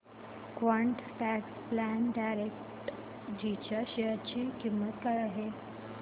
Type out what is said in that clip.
quant tax plan direct G च्या share ची किंमत काय आहे